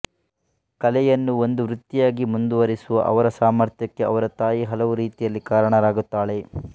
ಕಲೆಯನ್ನು ಒಂದು ವೃತ್ತಿಯಾಗಿ ಮುಂದುವರಿಸುವ ಅವರ ಸಾಮರ್ಥ್ಯಕ್ಕೆ ಅವರ ತಾಯಿ ಹಲವು ರೀತಿಯಲ್ಲಿ ಕಾರಣರಾಗುತ್ತಾಳೆ